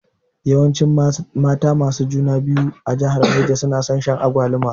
Yawancin mata masu juna biyu a jihar Neja nason shan agwaluma